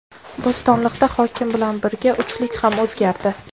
Bo‘stonliqda hokim bilan birga uchlik ham o‘zgardi.